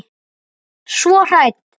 Svo hrædd.